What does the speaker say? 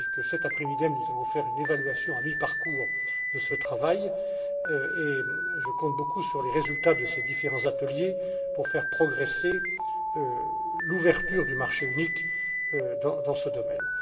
engagée. J'ai dit que, cet après midi, nous allions faire une évaluation à mi parcours de ce travail, et je compte beaucoup sur les résultats de ces différents ateliers pour faire progresser l'ouverture du marché unique dans ce